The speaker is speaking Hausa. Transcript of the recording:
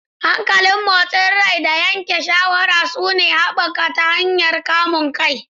Hankalin motsin rai da yanke shawara suna haɓaka ta hanyar kamun kai.